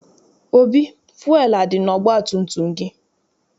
Obi, fụelụ adị n'ọgbatumtum gị?